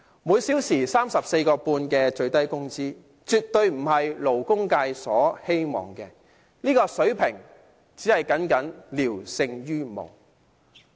每小時 34.5 元的最低工資，絕對不是勞工界的希望，這個水平僅僅聊勝於無。